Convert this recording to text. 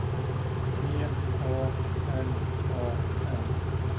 T A L A N